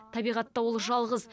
табиғатта ол жалғыз